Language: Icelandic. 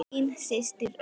Þín systir, Auður.